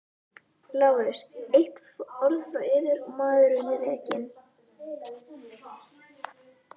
LÁRUS: Eitt orð frá yður og maðurinn er rekinn!